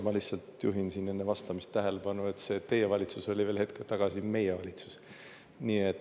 Ma lihtsalt juhin siin enne vastamist tähelepanu, et see "teie valitsus" oli veel hetk tagasi "meie valitsus".